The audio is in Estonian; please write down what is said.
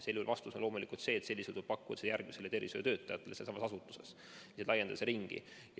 Vastus on loomulikult see, et sellisel juhul tuleks pakkuda vaktsiini järgmisele tervishoiutöötajale sealsamas asutuses, laiendada seda ringi.